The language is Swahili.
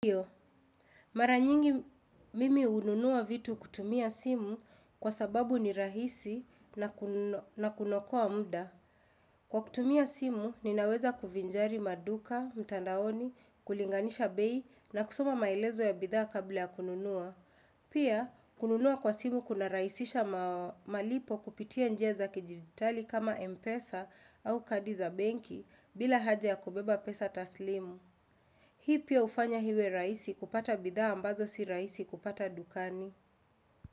Iyo, mara nyingi mimi hununua vitu kutumia simu kwa sababu ni rahisi na kuno kunokoa muda. Kwa kutumia simu, ninaweza kuvinjari maduka, mtandaoni, kulinganisha bei na kusoma maelezo ya bidhaa kabla ya kununua. Pia, kununua kwa simu kuna raisisha malipo kupitia njia za kidijitali kama Mpesa au kadi za benki bila haja ya kubeba pesa taslimu. Hii pia hufanya iwe raisi kupata bidhaa ambazo si raisi kupata dukani.